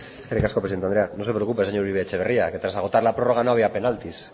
eskerrik asko presidente andrea no se preocupe señor uribe etxebarria que tras agotar la prórroga no había penaltis